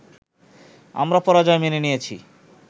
আমরা পরাজয় মেনে নিয়েছি